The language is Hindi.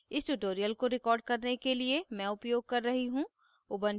इस tutorial को record करने के लिए मैं उपयोग कर रही हूँ